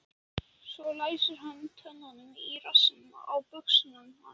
Svo læsir hann tönnunum í rassinn á buxunum hans.